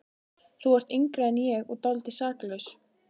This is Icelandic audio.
Þú ert yngri en ég og dálítið saklaus.